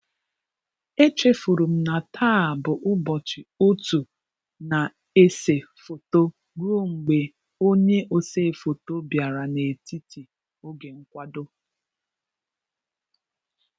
E chefurum na taa bụ ụbọchị otu na ese foto ruo mgbe onye osee foto bịara n'etiti oge nkwado